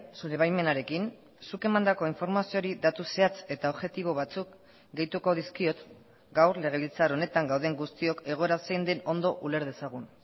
zure baimenarekin zuk emandako informazioari datu zehatz eta objektibo batzuk gehituko dizkiot gaur legebiltzar honetan gauden guztiok egoera zein den ondo uler dezagun